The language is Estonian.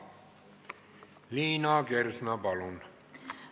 Liina Kersna, palun!